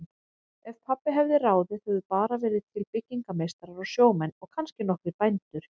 Ef pabbi hefði ráðið hefðu bara verið til byggingameistarar og sjómenn og kannski nokkrir bændur.